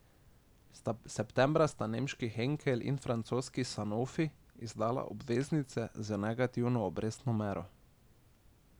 Septembra sta nemški Henkel in francoski Sanofi izdala obveznice z negativno obrestno mero.